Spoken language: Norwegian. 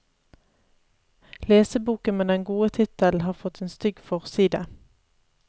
Leseboken med den gode tittelen har fått en stygg forside.